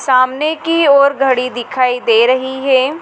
सामने की ओर घड़ी दिखाई दे रहीं हैं।